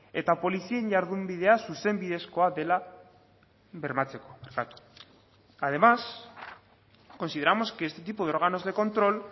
eta polizien jardunbidea zuzenbidezkoa dela bermatzeko además consideramos que este tipo de órganos de control